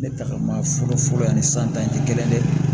Ne tagama fɔlɔ fɔlɔ ani san tan tɛ kelen ye dɛ